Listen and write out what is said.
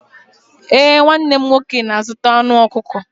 Ee, nwanne m nwoke na-azụta anụ ọkụkọ.